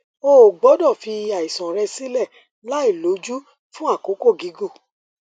o ò gbódò fi àìsàn rẹ sílè láìlójú fún àkókò gígùn